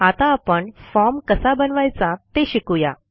आता आपण फॉर्म कसा बनवायचा ते शिकू या